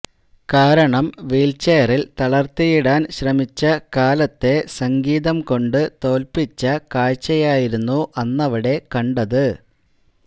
കാരണം വീൽചെയറിൽ തളർത്തിയിടാൻ ശ്രമിച്ച കാലത്തെ സംഗീതംകൊണ്ടു തോൽപിച്ച കാഴ്ചയായിരുന്നു അന്നവിടെ കണ്ടത്